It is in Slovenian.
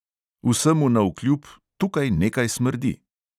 "Vsemu navkljub, tukaj nekaj smrdi!"